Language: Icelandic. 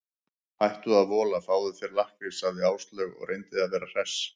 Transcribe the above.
Hættu að vola, fáðu þér lakkrís sagði Áslaug og reyndi að vera hress.